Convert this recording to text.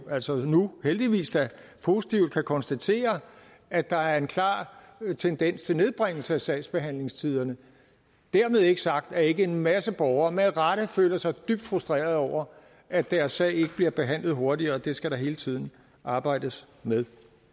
altså nu heldigvis da positivt kan konstatere at der er en klar tendens til nedbringelse af sagsbehandlingstiderne dermed ikke sagt at en masse borgere ikke med rette føler sig dybt frustrerede over at deres sag ikke bliver behandlet hurtigere og det skal der hele tiden arbejdes med